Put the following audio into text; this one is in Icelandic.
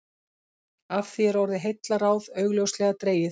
Af því er orðið heillaráð augljóslega dregið.